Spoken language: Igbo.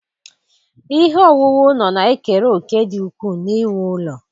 Ihe owuwu ụlọ na-ekere òkè dị ukwuu n'iwu ụlọ.